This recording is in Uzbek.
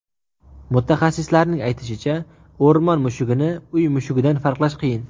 Mutaxassislarning aytishicha, o‘rmon mushugini uy mushugidan farqlash qiyin.